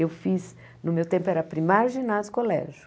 Eu fiz, no meu tempo era primário, ginásio e colégio.